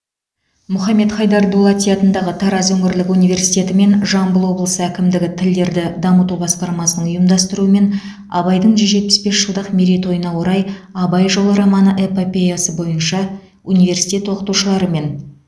мұхаммед хайдар дулати атындағы тараз өңірлік университеті мен жамбыл облысы әкімдігі тілдерді дамыту басқармасының ұйымдастыруымен абайдың жүз жетпес бес жылдық мерейтойына орай абай жолы роман эпопеясы бойынша университет оқытушылырымен